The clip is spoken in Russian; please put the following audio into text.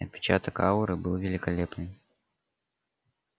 и отпечаток ауры был великолепным